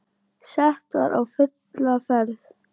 Sett var á fulla ferð.